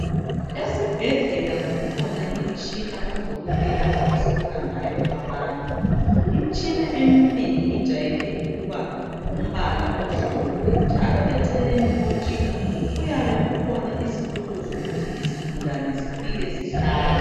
Esibhedlela kukhona imitshina odokotela abahlola ngayo abantu. Imitshina eminengi ijayele ukuba ngumbala omhlophe. Eceleni kwemitshina kuyabe kukhona izitulo zokuthi izigulane zifike zihlale.